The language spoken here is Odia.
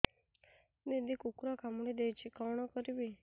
ଦିଦି କୁକୁର କାମୁଡି ଦେଇଛି କଣ କରିବି